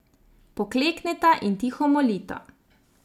Poklekneta in tiho molita.